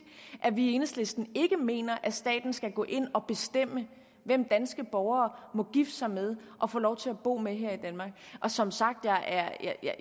at vi i enhedslisten ikke mener at staten skal gå ind og bestemme hvem danske borgere må gifte sig med og få lov til at bo sammen med her i danmark som sagt